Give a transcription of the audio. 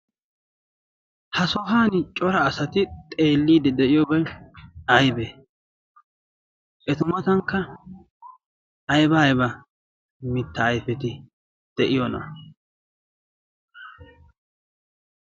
ha sohan cora asati xeelliidi de'iyoobay aybee? etu matankka ayba ayba mitta ayfeti de'iyoona?